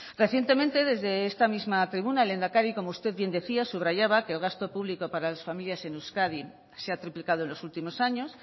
recientemente desde esta misma tribuna el lehendakari como usted bien decía subrayaba que el gasto público para las familias en euskadi se ha triplicado en los últimos años